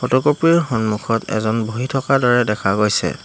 Photocopy ৰ সন্মুখত এজন বহি থকাৰ দৰে দেখা গৈছে।